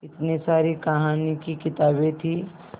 इतनी सारी कहानी की किताबें थीं